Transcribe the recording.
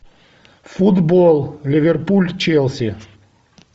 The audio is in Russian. футбол ливерпуль челси